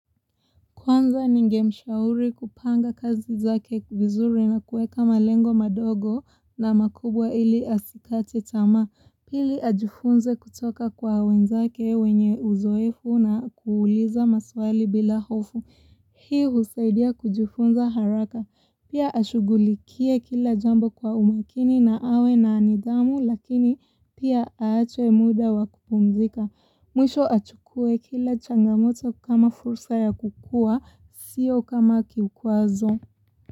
Kwanza, ningemshauri kupanga kazi zake vizuri na kueka malengo madogo na makubwa ili asikate tamaa. Pili, ajifunze kutoka kwa wenzake wenye uzoefu na kuuliza maswali bila hofu. Hii husaidia kujifunza haraka. Pia ashugulikie kila jambo kwa umakini na awe na nidhamu lakini pia aache muda wa kupumzika. Mwisho achukue kila changamoto kama fursa ya kukua, sio kama kikwazo.